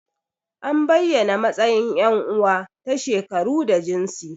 An bayyana matsayin yan uwa ta shekaru da jinsi.